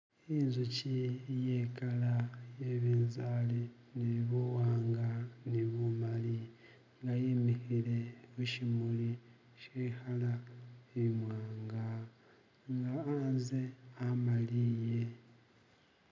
inzuchi iyekala iyebinzali nibuwanga nibumali ngayimihile mushimuli shehala imwanga nga anze amaliye